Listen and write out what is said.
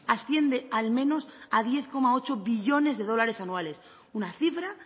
asciende al menos a diez coma ocho billones de dólares anuales una cifra